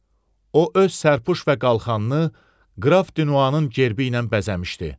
O öz sərpüş və qalxanını qraf Dinuanın gerbi ilə bəzəmişdi.